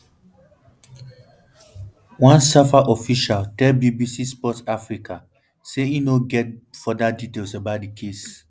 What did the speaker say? one safa official tell bbc sport africa say im no get get further details about di case